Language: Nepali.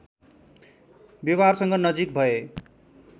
व्यवहारसँग नजिक भए